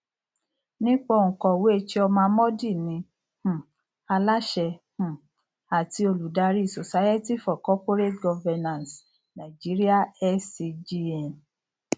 nípa òǹkọwé chioma mordi ni um aláṣẹ um àti olùdarí society for corporate governance nigeria scgn